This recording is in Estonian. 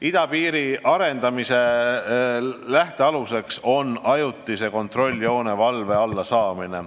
" Idapiiri arendamise lähtealuseks on ajutise kontrolljoone valve alla saamine.